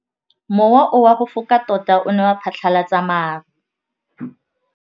Mowa o wa go foka tota o ne wa phatlalatsa maru.